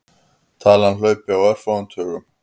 Talan hlaupi á örfáum tugum.